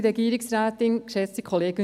Dies würde mich interessieren.